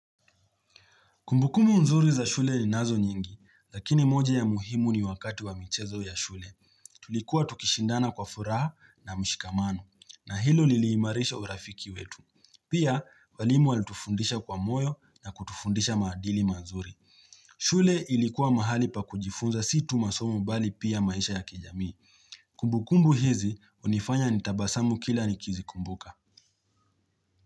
Kumbukumu nzuri za shule ni nazo nyingi, lakini moja ya muhimu ni wakati wa mchezo ya shule. Tulikuwa tukishindana kwa furaha na mshikamano, na hilo liliimarisha urafiki wetu. Pia, walimu alitufundisha kwa moyo na kutufundisha maadili mazuri. Shule ilikuwa mahali pa kujifunza situ masomu bali pia maisha ya kijamii. Kumbukumu hizi, unifanya nitabasamu kila nikizi kumbuka.